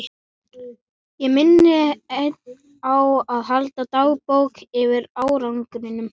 Ég minni enn á að halda dagbók yfir árangurinn.